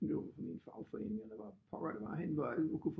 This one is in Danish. Min fagforening eller hvor pokker det var hvor alle kunne